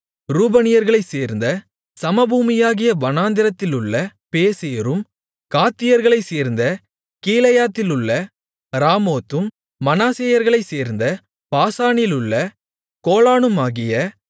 ரூபனியர்களைச் சேர்ந்த சமபூமியாகிய வனாந்திரத்திலுள்ள பேசேரும் காத்தியர்களைச் சேர்ந்த கீலேயாத்திலுள்ள ராமோத்தும் மனாசேயர்களைச் சேர்ந்த பாசானிலுள்ள கோலானுமாகிய